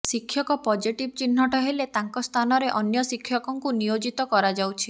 ଶିକ୍ଷକ ପଜିଟିଭି ଚିହ୍ନଟ ହେଲେ ତାଙ୍କ ସ୍ଥାନରେ ଅନ୍ୟ ଶିକ୍ଷକଙ୍କୁ ନିୟୋଜିତ କରାଯାଉଛି